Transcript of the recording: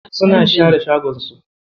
Suna share shagon su.